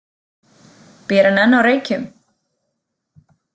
Býr hann enn á Reykjum?